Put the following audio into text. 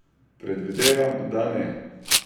Predvidevam, da ne!